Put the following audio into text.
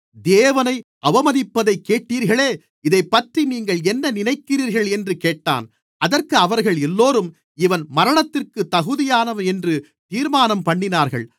தேவனை அவமதிப்பதைக் கேட்டீர்களே இதைப்பற்றி நீங்கள் என்ன நினைக்கிறீர்கள் என்றுக் கேட்டான் அதற்கு அவர்கள் எல்லோரும் இவன் மரணத்திற்குத் தகுதியானவன் என்று தீர்மானம்பண்ணினார்கள்